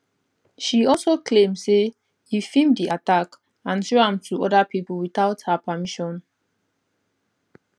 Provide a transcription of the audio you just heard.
she also claim say e feem di attack and show am to oda pipo witout her permission